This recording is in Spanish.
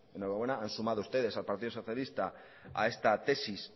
enhorabuena han sumado ustedes al partido socialista a esta tesis